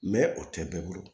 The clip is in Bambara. o tɛ bɛɛ bolo